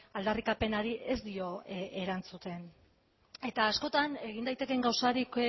aldarrikapenari ez dio erantzuten eta askotan egin daitekeen gauzarik